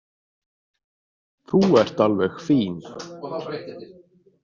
Þú ert alveg fín.